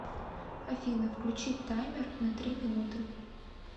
афина включить таймер на три минуты